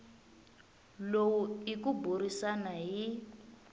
lowu i ku burisana hi